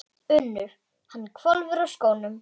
UNNUR: Hann hvolfir úr skónum.